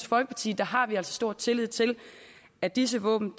folkeparti har vi altså stor tillid til at disse våben